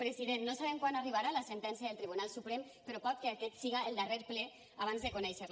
president no sabem quan arribarà la sentència del tribunal suprem però pot ser que aquest siga el darrer ple abans de conèixer la